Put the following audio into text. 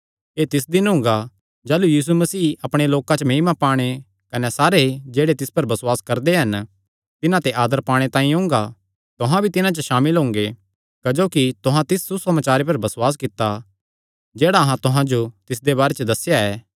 एह़ तिस दिन हुंगा जाह़लू यीशु मसीह अपणे लोकां च महिमा पाणे कने सारे लोक जेह्ड़े तिस पर बसुआस करदे हन तिन्हां ते आदर पाणे तांई ओंगा तुहां भी तिन्हां च सामिल हुंगे क्जोकि तुहां तिस सुसमाचारे पर बसुआस कित्ता जेह्ड़ा अहां तुहां जो तिसदे बारे च दस्सेया था